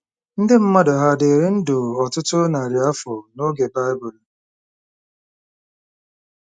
Ndị mmadụ hà dịrị ndụ ọtụtụ narị afọ n'oge Baịbụl?